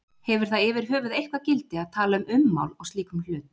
Hefur það yfirhöfuð eitthvert gildi að tala um ummál á slíkum hlut?